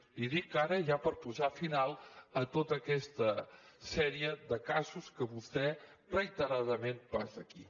li ho dic ara ja per posar final a tota aquesta sèrie de casos que vostè reiteradament posa aquí